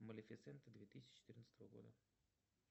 малифесента две тысячи четырнадцатого года